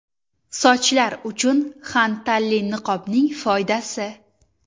Sochlar uchun xantalli niqobning foydasi.